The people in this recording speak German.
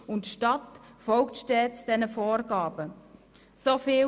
Die Stadt folgt diesen Vorgaben stets.